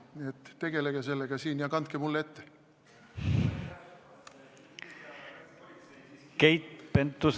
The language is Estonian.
Nii et tegelege sellega siin ja kandke mulle ette.